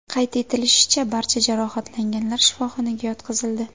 Qayd etilishicha, barcha jarohatlanganlar shifoxonaga yotqizildi.